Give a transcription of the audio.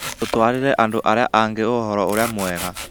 Tũtwarĩre andũ arĩa angĩ ũhoro ũrĩa mwega